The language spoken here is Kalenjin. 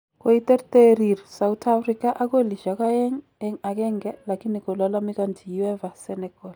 Koiterterir sauthafrika ak kolisyek aeng eng agenge lakini kolalamikanchi uefa Senegal